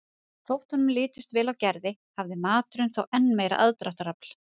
Þótt honum litist vel á Gerði hafði maturinn þó enn meira aðdráttarafl.